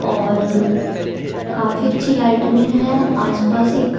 और काफी अच्छी लाइटनिंग है आस पास एक--